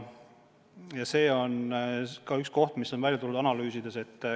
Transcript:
Ja see on ka üks probleem, mis on välja tulnud analüüsides.